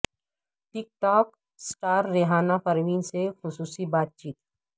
ٹک talk star Rehana Parveen سے خصوصی بات چیت